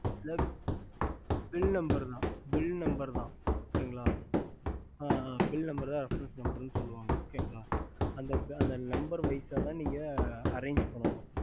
bill numder தா bill number refereness சொல்லுவங்க okay கால அந்த number wise நீங்க range பண்ணனும்